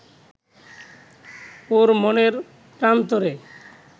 ওর মনের প্রান্তরে